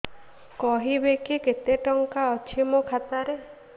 କହିବେକି କେତେ ଟଙ୍କା ଅଛି ମୋ ଖାତା ରେ